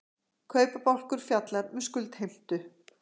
kaupabálkur fjallar um skuldheimtu